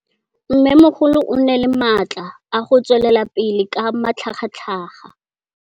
Mmêmogolo o na le matla a go tswelela pele ka matlhagatlhaga.